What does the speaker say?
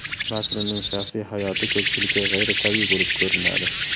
Makronning shaxsiy hayoti ko‘pchilikka g‘ayritabiiy bo‘lib ko‘rinadi.